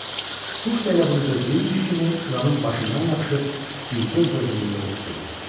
Quş da elə bunu gözləyirmiş kimi ilanın başından yapışıb bir göz qırpımında utdu.